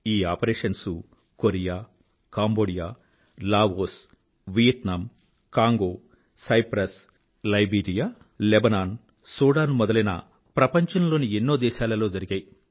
ఈ operations Korea Cambodia Laos Vietnam Congo Cyprus Liberia Lebanon Sudan మొదలైన ప్రపంచంలోని ఎన్నో దేశాలలో జరిగాయి